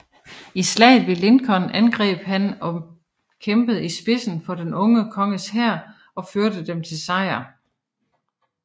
I Slaget ved Lincoln angreb han og kæmpede i spidsen for den unge konges hær og førte dem til sejr